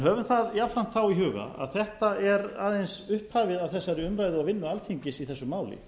höfum það jafnframt þá í huga að þetta er aðeins upphafið að þessari umræðu og vinnu alþingis í þessu máli